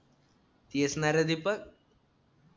तेच ना रे दीपक